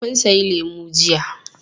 Kun sayi lemu jiya.